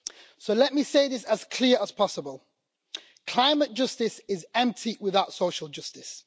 So let me say this as clearly as possible climate justice is empty without social justice.